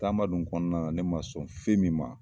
Tagaba dun kɔnɔna ne ma sɔn fɛn min ma